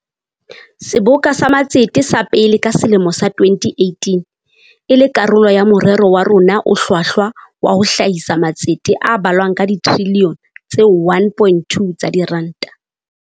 Seboka sa Matsete sa pele ka selemo sa 2018 e le karolo ya morero wa rona o hlwahlwa wa ho hlahisa matsete a balwang ka trilione tse 1.2 tsa diranta.